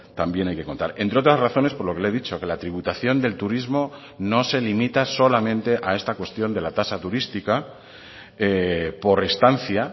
también hay que contar entre otras razones por lo que le he dicho que la tributación del turismo no se limita solamente a esta cuestión de la tasa turística por estancia